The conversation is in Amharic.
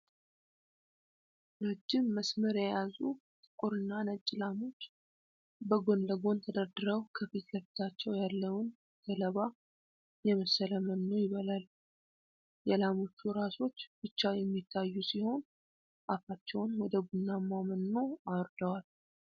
ረጅም መስመር የያዙ ጥቁርና ነጭ ላሞች፣ በጎን ለጎን ተደርድረው ከፊት ለፊታቸው ያለውን ገለባ የመሰለ መኖ ይበላሉ። የላሞቹ ራሶች ብቻ የሚታዩ ሲሆን፣ አፋቸውን ወደ ቡናማው መኖ አውርደዋል።